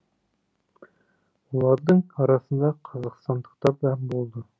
олардың арасында қазақстандықтар да болды